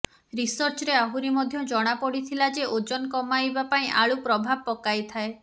ରିସର୍ଚ୍ଚରେ ଆହୁରି ମଧ୍ୟ ଜଣାପଡ଼ିଥିଲା ଯେ ଓଜନ କମାଇବା ପାଇଁ ଆଳୁ ପ୍ରଭାବ ପକାଇଥାଏ